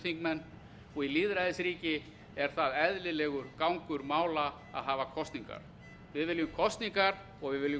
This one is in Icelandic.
þingmenn og í lýðræðisríki er það eðlilegur gangur mála að hafa kosningar við viljum kosningar og við viljum